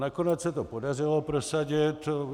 Nakonec se to podařilo prosadit.